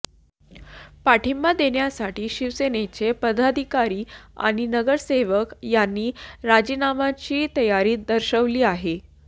पाठिंबा देण्यासाठी शिवसेनेचे पदाधिकारी आणि नगरसेवक यांनी राजीनाम्याची तयारी दर्शवली आहे